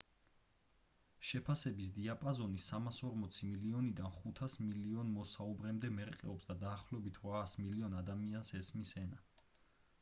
შეფასების დიაპაზონი 340 მილიონიდან 500 მილიონ მოსაუბრემდე მერყეობს და დაახლოებით 800 მილიონ ადამიანს ესმის ენა